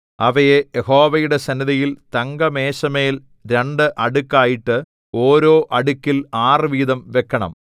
അവയെ യഹോവയുടെ സന്നിധിയിൽ തങ്കമേശമേൽ രണ്ട് അടുക്കായിട്ട് ഓരോ അടുക്കിൽ ആറുവീതം വെക്കണം